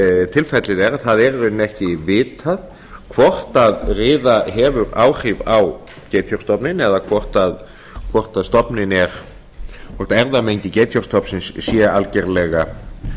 tilfellið er að það er ekki vitað hvort riða hefur áhrif á geitfjárstofninn eða hvort erfðamengi geitfjárstofnsins sé algerlega